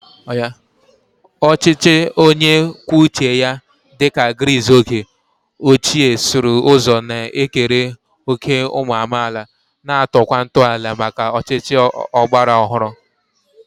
Ọchịchị onye kwuo uche ya dị ka Gris oge ochie sụrụ ụzọ na-ekere òkè ụmụ amaala, na-atọkwa ntọala maka ọchịchị ọgbara ọhụrụ.